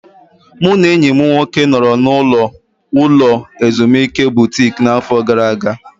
Mụ na enyi m nwoke nọrọ n'ụlọ ulo ezimuike Butiki n'afọ gara aga.